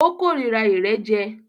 O kòrira ìrẹ́jẹ.